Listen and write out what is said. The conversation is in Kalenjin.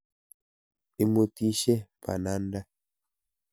Imuutishe bananda.